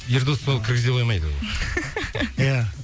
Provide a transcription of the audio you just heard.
ердос сол кіргізе қоймайды ол иә